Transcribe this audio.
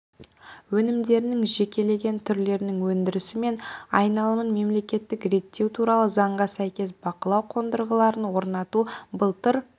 өнімдерінің жекелеген түрлерінің өндірісі мен айналымын мемлекеттік реттеу туралы заңға сәйкес бақылау қондырғыларын орнату былтыр